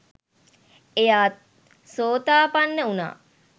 එයා සෝතාපන්න වුණා.